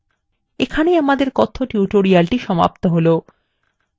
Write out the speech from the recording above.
এইখানে আমাদের কথ্য tutorial সমাপ্ত হলো